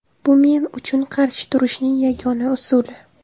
Bu men uchun qarshi turishning yagona usuli.